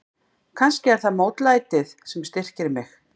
Kannski er það mótlætið sem styrkir mig.